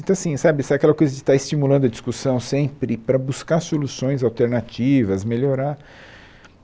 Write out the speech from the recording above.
Então, assim, sabe, sabe aquela coisa de estar estimulando a discussão sempre para buscar soluções alternativas, melhorar.